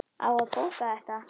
Á að bóka þetta?